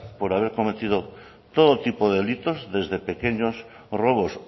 por haber cometido todo tipo de delitos desde pequeños robos